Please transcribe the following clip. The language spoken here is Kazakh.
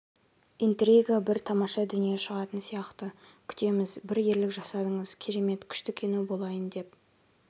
интрига бір тамаша дүние шығатын сияқты күтеміз бір ерлік жасадыңыз керемет күшті кино болайын деп